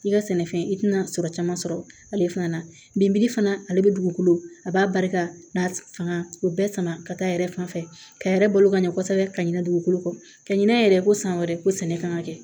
K'i ka sɛnɛfɛn i tɛna sɔrɔ caman sɔrɔ ale fana na fana ale bɛ dugukolo a b'a barika n'a fanga o bɛ sama ka taa yɛrɛ fanfɛ ka yɛrɛ balo ka ɲɛ kosɛbɛ ka ɲinɛ dugukolo kɔ ka ɲinɛn yɛrɛ ko san wɛrɛ ko sɛnɛ kan ka kɛ